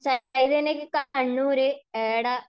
ചൈതന്യയ്ക്ക് Kannur ഏട